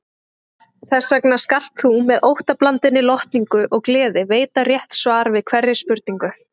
Þessvegna skalt þú með óttablandinni lotningu og gleði veita rétt svar við hverri spurningu.